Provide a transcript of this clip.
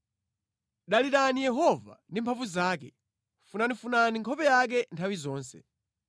Dalirani Yehova ndi mphamvu zake; funafunani nkhope yake nthawi zonse.